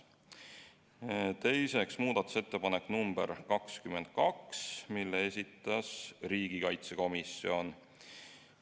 Teiseks, muudatusettepanek nr 22, mille esitas riigikaitsekomisjon.